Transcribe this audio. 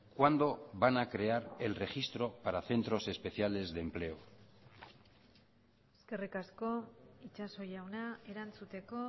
cuándo van a crear el registro para centros especiales de empleo eskerrik asko itxaso jauna erantzuteko